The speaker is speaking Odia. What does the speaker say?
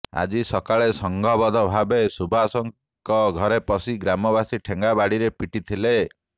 ଆଜି ସକାଳେ ସଂଘବଦ୍ଧ ଭାବେ ସୁବାସଙ୍କ ଘରେ ପଶି ଗ୍ରାମବାସୀ ଠେଙ୍ଗାବାଡ଼ିରେ ପିଟି ଥିଲେ